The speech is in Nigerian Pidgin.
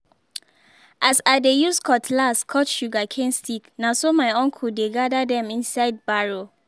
as i dey use cutlass cut sugarcane stick na so my uncle dey gather them inside barrow